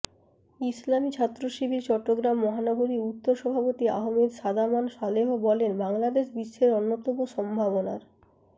ইসলামী ছাত্রশিবির চট্টগ্রাম মহানগরী উত্তর সভাপতি আহমেদ সাদমান সালেহ বলেন বাংলাদেশ বিশ্বের অন্যতম সম্ভাবনার